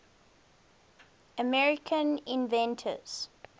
american inventions